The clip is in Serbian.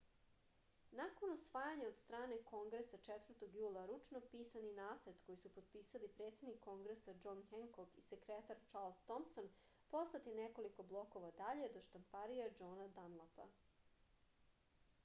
nakon usvajanja od strane kongresa 4. jula ručno pisani nacrt koji su potpisali presednik kongresa džon henkok i sekretar čarls tomson poslat je nekoliko blokova dalje do štamparije džona danlapa